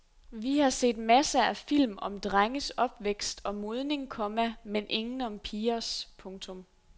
Vi har set masser af film om drenges opvækst og modning, komma men ingen om pigers. punktum